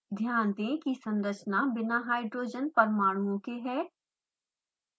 ध्यान दें की संरचना बिना हाइड्रोजन परमाणुओं के है